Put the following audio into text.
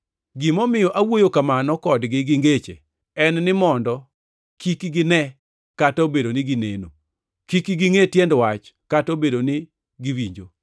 Gimomiyo awuoyo kamano kodgi gi ngeche en ni mondo: “Kik ginee kata obedo ni gineno; kik gingʼe tiend wach kata obedo ni giwinjo.